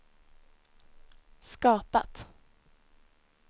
skapat